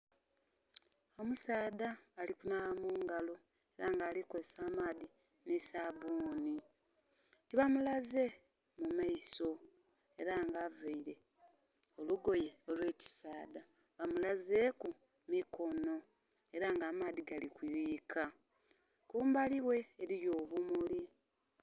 Omusaadha ali kunhaaba mu ngalo ela nga ali kozesa amaadhi nhi sabbuuni. Tibamulaze mu maiso ela ng'availe olugoye olw'ekisaadha, bamulaze ku mikono ela nga amaadhi gali kuyuyika. Kumbali ghe eliyo obumuli.